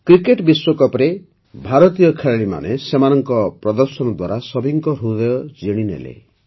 cricket ବିଶ୍ୱକପ୍ରେ ଭାରତୀୟ ଖେଳାଳୀମାନେ ସେମାନଙ୍କ ପ୍ରଦର୍ଶନ ଦ୍ୱାରା ସଭିଙ୍କ ହୃଦୟ ଜିଣିନେଲେ